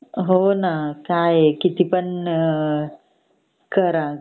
हो न काय ए कीती पण अ करा